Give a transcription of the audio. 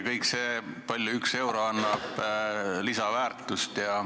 Kõik see, kui palju 1 euro annab lisaväärtust.